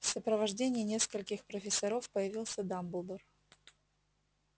в сопровождении нескольких профессоров появился дамблдор